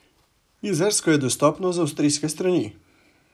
Jezersko je dostopno z avstrijske strani.